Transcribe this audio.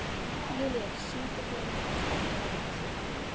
Júlíus, syngdu fyrir mig „Ástardúett“.